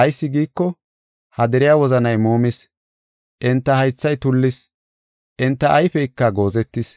Ayis giiko, ha deriya wozanay muumis; enta haythay tullis; enta ayfeyka goozetis.